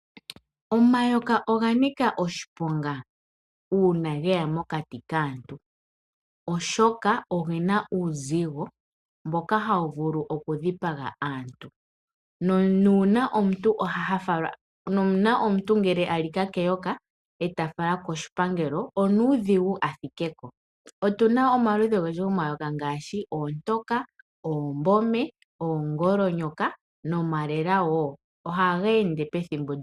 Omayoka oga nika oshiponga uuna ge ya mokati kaantu oshoka oge na uuzigo mboka ha wu vulu okudhipaga aantu. Uuna omuntu alika keyoka eta falwa ando koshipangelo onuudhigu athike ko. Otu na omaludhi ogendji gomayoka ngaashi oontoka, oombome, oongolonyoka nomalela woo. Oha geende unene pethimbo lyokufu.